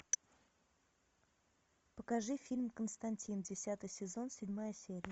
покажи фильм константин десятый сезон седьмая серия